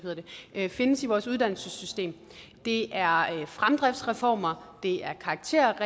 her findes i vores uddannelsessystem det er fremdriftsreformer det er karakterræs